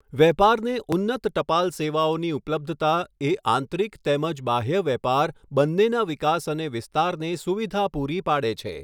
વેપારને ઉન્નત ટપાલ સેવાઓની ઉપલબ્ધતા એ આંતરિક તેમજ બાહ્ય વેપાર બન્નેના વિકાસ અને વિસ્તારને સુવિધા પૂરી પાડે છે.